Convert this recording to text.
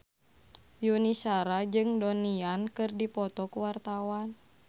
Yuni Shara jeung Donnie Yan keur dipoto ku wartawan